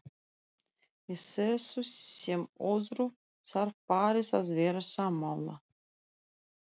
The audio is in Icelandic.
Í þessu sem öðru þarf parið að vera sammála.